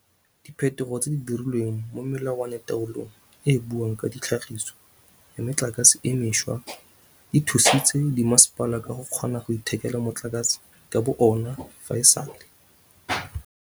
Diphetogo tse di dirilweng mo melawanataolong e e buang ka tlhagiso ya metlakase e mešwa di thusitse dimasepala go kgona go ithekela motlakase ka bo ona fa e sale.